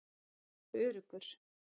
Ég var öruggur.